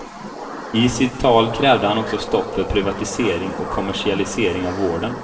I sitt tal krävde han också stopp för privatisering och kommersialisering av vården.